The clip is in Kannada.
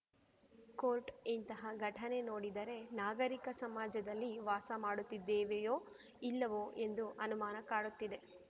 ಕೋರ್ಟ್‌ ಇಂತಹ ಘಟನೆ ನೋಡಿದರೆ ನಾಗರಿಕ ಸಮಾಜದಲ್ಲಿ ವಾಸ ಮಾಡುತ್ತಿದ್ದೇವೆಯೋ ಇಲ್ಲವೋ ಎಂಬ ಅನುಮಾನ ಕಾಡುತ್ತಿದೆ